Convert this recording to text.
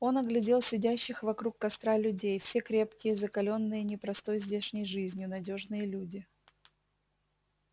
он оглядел сидящих вокруг костра людей все крепкие закалённые непростой здешней жизнью надёжные люди